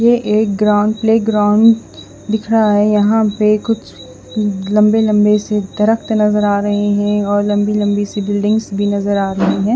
ये एक ground playground दिखरा है यहाँ पे कुछ लम्बे लम्बे से दरख्त नज़र आ रहे है और लम्बी लम्बी सी बिल्डिंग्स भी नज़र आ रही है।